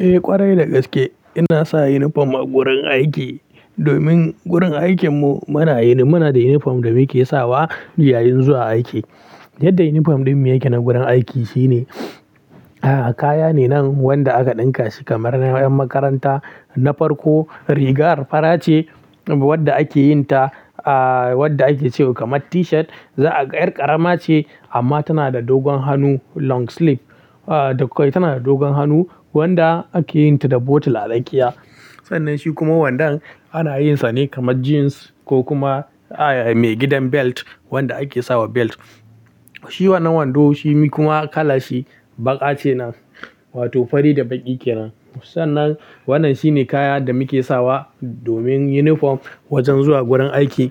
Eh ƙwarai da gaske ina sa inifom a gurin aiki, domin gurin aikin mu muna yi, muna da inifom da muke sawa yayin zuwa aiki. Yadda inifom ɗin mu yake na gurin aiki shine, kaya ne nan wanda aka ɗinka shi kamar na ƴan makaranta na farko. Riga farace wadda ake yin ta, aa wadda ake cewa kamar tishat. Za'a ƙar ƙarama ce amma tana da dogon hannu long sleeve. Aa to kai tana da dogon hannu wanda ake yin ta da bottle a tsakiya. Sannan shi kuma wandan ana yin sa ne kamar jeans ko kuma aa mai gidan belt wanda ake sawa belt. Shi wannan wando shi kuma kala shi baƙa ce nan, wato fari da baƙi kenan. Sannan wannan shine kaya da muke sawa domin inifom wajen zuwa gurin aiki.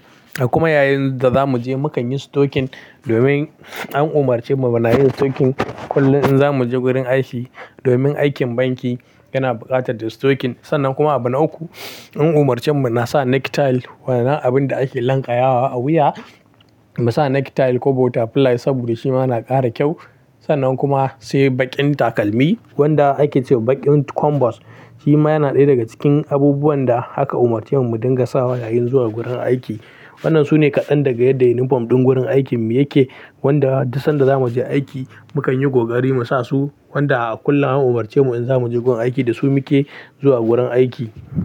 Kuma yayin da za mu je mu kan yi stocking domin an umarce mu muna yin stocking kullum in za mu je gurin aiki. Domin aikin banki yana buƙatar da stocking. Sannan kuma abu na uku an umarce mu muna sa necktie wannan abin da ake lanƙayawa a wuya. Mu sa necktie ko butterfly saboda shi ma na ƙara kyau. Sannan kuma sai baƙin takalmi wanda ake cewa baƙin combos. Shi ma yana ɗaya daga cikin abubuwan da haka umarce mu mu dinga sawa yayin zuwa gurin aiki. Waɗannan su ne kaɗan daga yadda uniform ɗin gurin aikin mu yake. Wanda dus sanda za mu je aiki mu kan yi ƙoƙari mu sa su. Wanda a kullum an umarce mu in za mu je gurin aiki da su muke zuwa gurin aiki.